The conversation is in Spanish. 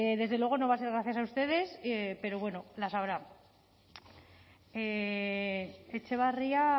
desde luego no va a ser gracias a ustedes pero bueno las habrá etxebarria